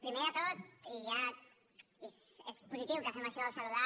primer de tot i ja és positiu que fem això saludar